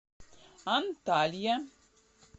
анталья